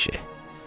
Əşi!